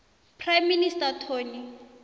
prime minister tony